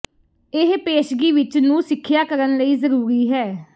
ਇਹ ਪੇਸ਼ਗੀ ਵਿੱਚ ਨੂੰ ਸਿੱਖਿਆ ਕਰਨ ਲਈ ਜ਼ਰੂਰੀ ਹੈ